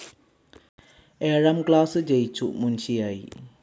ഏഴാം ക്ലാസ്‌ ജയിച്ചു മുൻഷിയായി.